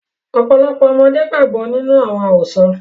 Ọ́pọlọpọ́ àwọn ọmọde gbàgbọ ninu àwọn àrosọ́.